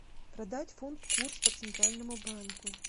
продать фунт курс по центральному банку